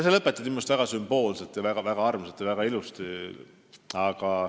See lõpetati minu meelest väga sümboolselt, väga armsalt ja väga ilusti.